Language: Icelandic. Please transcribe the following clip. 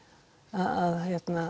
að